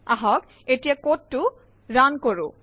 আহক এতিয়া কোডটো ৰান কৰো